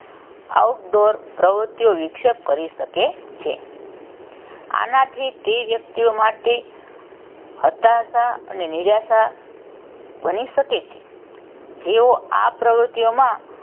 outdoor પ્રવૃત્તિઓ વિક્ષેપ કરી શકે છે. આનાંથી તે વ્યક્તિઓ માટે હતાશા અને નિરાશા બની શકે છે. જેઓ આ પ્રવૃતિઓમાં,